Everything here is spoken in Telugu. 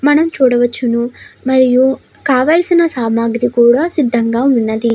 మనం చూడవచ్చును. మరియు కావాల్సిన సామాగ్రి కూడా సిద్ధంగా ఉన్నది.